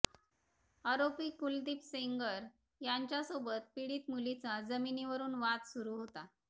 आरोपी कुलदीप सेंगर यांच्यासोबत पीडित मुलीचा जमीनीवरून वाद सुरू होता